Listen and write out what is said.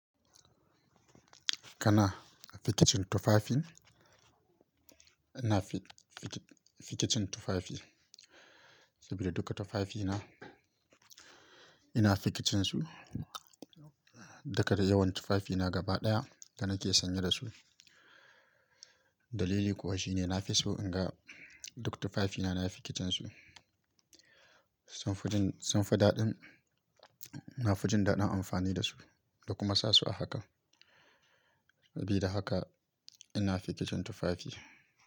Kana fikicin tufafin, ina fikicin tufafi saboda duka tufafina ina fikicin su. Duka dai yawan tufafina gaba ɗaya da nake sanye da su. Dalili kuwa shine nafi so in ga duk tufafina na fikicin su. Sam furjin, sam fa daɗin, na fi jin daɗin amfani da su da kuma sa su a haka. Sabida haka ina fikicin tufafi.